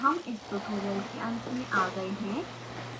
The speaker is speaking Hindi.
अब हम इस ट्यूटोरियल के अंत में आ गए हैं